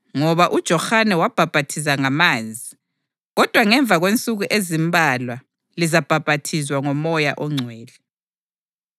Ngoba uJohane wabhaphathiza ngamanzi, kodwa ngemva kwensuku ezimbalwa lizabhaphathizwa ngoMoya oNgcwele.”